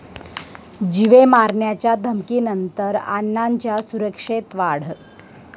जीवे मारण्याच्या धमकीनंतर अण्णांच्या सुरक्षेत वाढ